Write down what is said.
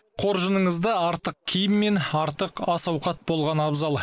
қоржыныңызда артық киім мен артық ас ауқат болғаны абзал